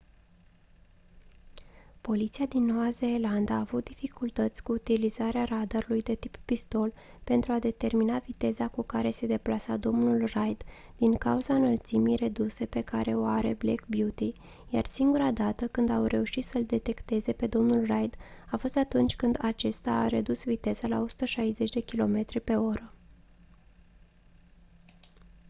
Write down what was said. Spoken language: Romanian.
poliția din noua zeelandă a avut dificultăți cu utilizarea radarului de tip pistol pentru a determina viteza cu care se deplasa domnul reid din cauza înălțimii reduse pe care o are black beauty iar singura dată când au reușit să-l detecteze pe domnul reid a fost atunci când acesta a redus viteza la 160 km/h